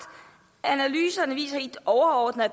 analyserne viser helt overordnet at